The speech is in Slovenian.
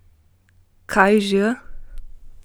Kaj že?